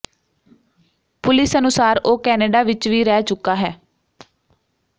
police ਅਨੁਸਾਰ ਉਹ Canada ਵਿੱਚ ਵੀ ਰਹਿ ਚੁੱਕਾ ਹੈ